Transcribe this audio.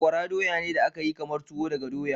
Sakwara doya ne da aka yi kamar tuwo daga doya.